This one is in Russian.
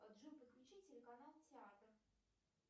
джой подключи телеканал театр